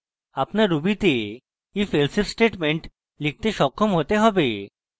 আপনার ruby তে নিজের ifelsif statement লিখতে সক্ষম হতে হবে